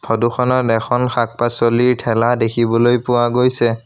ফটোখনত এখন শাক-পাছলিৰ ঠেলা দেখিবলৈ পোৱা গৈছে।